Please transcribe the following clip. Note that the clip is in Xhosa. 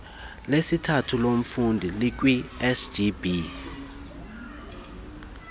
lesithathu lomfundi likwisgb